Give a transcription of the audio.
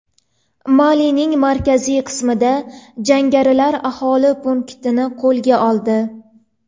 Malining markaziy qismida jangarilar aholi punktini qo‘lga oldi.